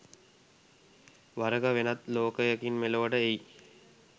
වරෙක වෙනත් ලෝකයකින් මෙලොවට එයි.